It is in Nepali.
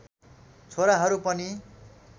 छोराहरू पनि